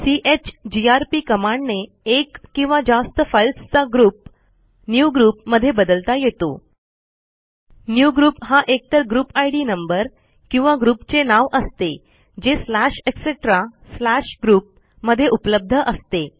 chgrp कमांडने एक किंवा जास्त फाईल्सचा ग्रुप न्यूग्रुप मधे बदलता येतो न्यूग्रुप हा एकतर ग्रुप इद नंबर किंवा ग्रुप चे नाव असते जे स्लॅश ईटीसी स्लॅश ग्रुप मध्ये उपलब्ध असते